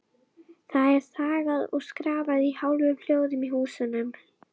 Sara, hvernig er dagskráin í dag?